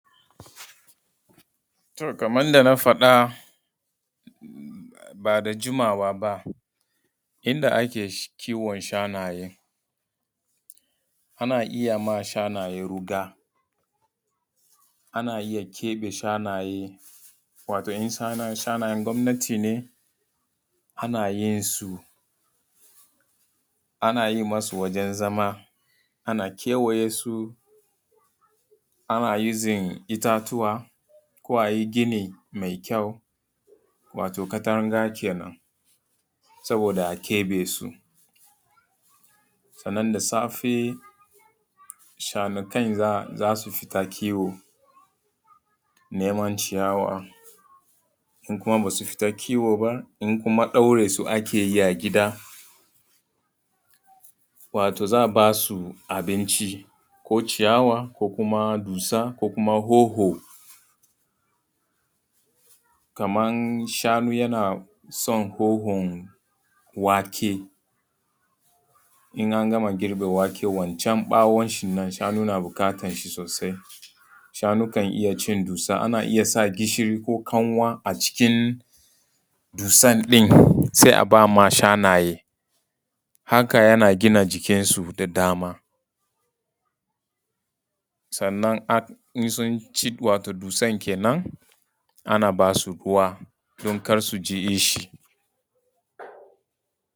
To kaman yadda na faɗa ba da jimawa ba inda ake kiwon shanaye, ana iya yiwa shananye ruga, ana iya keɓe shanaye wato in shanayen gwamnati ne ana yin su, ana yi masu wajan zama, ana kewayesu, ana using itatuwa ko a yi gini mai kyau wato katanga kenan saboda a keɓe su. Sannan da safe shanukan za su fita kiwo, neman ciyawa, in kuma basu fita kiwo ba in kuma ɗaure su ake yi a gida, wato za a ba su abinci ko ciyawa, ko kuma dussa, ko kuma hoho. Kaman shanu yana son hohon wake, in an gama girbe wake wacan ɓawon shin nan shanu na buƙatan shi sosai. Shanu kan iya cin dussa, ana iya sa gishiri ko kanwa a cikin dussan ɗin sai a ba ma shanaye. Haka yana gina jikinsu da dama. Sannan insunci dussan kenan ana ba su ruwa don kar su ji kishi.